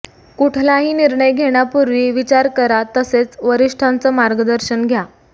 कुठलाही निर्णय घेण्यापूर्वी विचार करा तसेच वरिष्ठांचं मार्गदर्शन घ्या